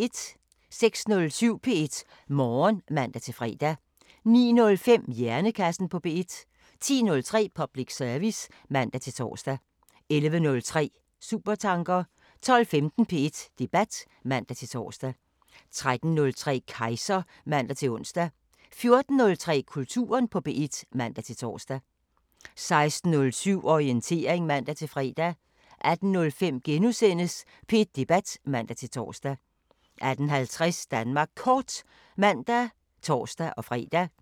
06:07: P1 Morgen (man-fre) 09:05: Hjernekassen på P1 10:03: Public service (man-tor) 11:03: Supertanker 12:15: P1 Debat (man-tor) 13:03: Kejser (man-ons) 14:03: Kulturen på P1 (man-tor) 16:07: Orientering (man-fre) 18:05: P1 Debat *(man-tor) 18:50: Danmark Kort (man og tor-fre)